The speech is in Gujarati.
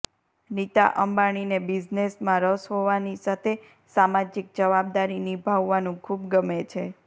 નીતા અંબાણીને બિઝનેસમાં રસ હોવાની સાથે સામાજિક જવાબદારી નિભાવવાનું ખૂબ ગમે છે